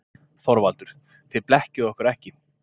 ÞORVALDUR: Þið blekkið okkur ekki.